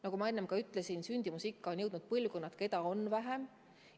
Nagu ma ütlesin, sünnitamisikka on jõudnud põlvkond, keda on arvuliselt vähem.